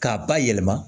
K'a bayɛlɛma